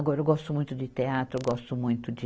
Agora eu gosto muito de teatro, eu gosto muito de